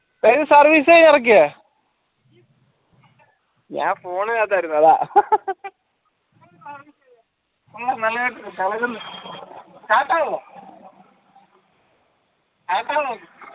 service യാണ് ഇറക്കിയേ ഞാൻ phone അകത്തായിരുന്നു അതാ തളര്ന്ന് start ആകോ